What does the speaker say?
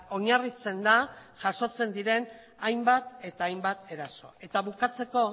oinarritzen da jasotzen diren hainbat eta hainbat eraso eta bukatzeko